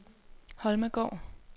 Holmegaard